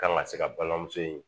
Kan ka se ka balimamuso in